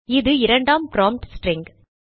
இது இரண்டாம் prompt string